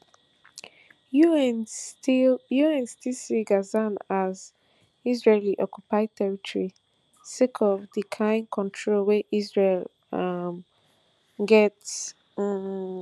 un still un still see gaza as israelioccupied territory sake of di kain control wey israel um get um